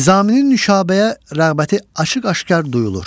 Nizaminin Nüşabəyə rəğbəti açıq-aşkar duyulur.